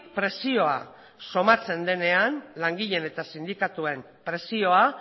presioa somatzen denean langileen eta sindikatuen presioa